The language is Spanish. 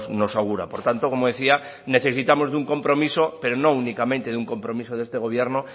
nos augura por tanto como decía necesitamos de un compromiso pero no únicamente de un compromiso de este gobierno